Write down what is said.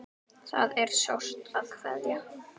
Það er sárt að kveðja.